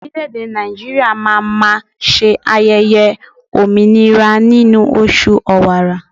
Orileèdè Nàìjíríà má a máa se ayẹyẹ òmìnira nínú oṣù Ọ̀wààrà